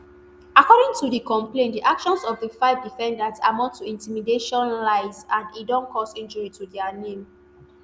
according to di complain di actions of di five defendants amount to intimidation lies and e don cause injury to dia name